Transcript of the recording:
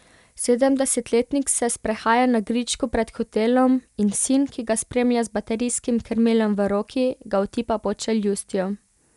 Sedemdesetletnik se sprehaja na gričku pred hotelom in sin, ki ga spremlja z baterijskim krmilom v roki, ga otipa pod čeljustjo.